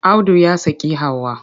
Audu ya saki Hauwa.